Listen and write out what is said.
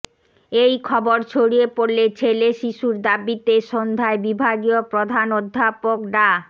এই খবর ছড়িয়ে পড়লে ছেলে শিশুর দাবিতে সন্ধ্যায় বিভাগীয় প্রধান অধ্যাপক ডা